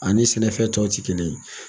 Ani sɛnɛfɛn tɔw tɛ kelen ye.